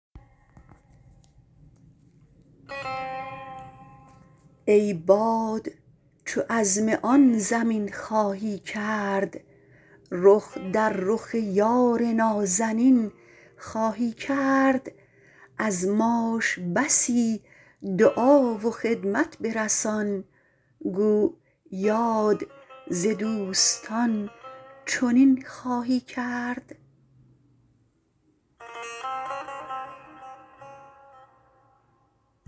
ای باد چو عزم آن زمین خواهی کرد رخ در رخ یار نازنین خواهی کرد از ماش بسی دعا و خدمت برسان گو یاد ز دوستان چنین خواهی کرد